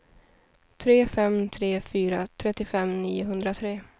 tre fem tre fyra trettiofem niohundratre